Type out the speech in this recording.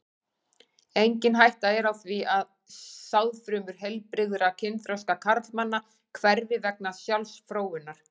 Engin hætta er á því að sáðfrumur heilbrigðra kynþroska karlmanna hverfi vegna sjálfsfróunar.